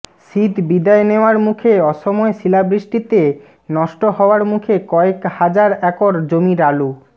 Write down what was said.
শীত বিদায় নেওয়ার মুখে অসময়ে শিলাবৃষ্টিতে নষ্ট হওয়ার মুখে কয়েক হাজার একর জমির আলু